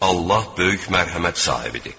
Allah böyük mərhəmət sahibidir.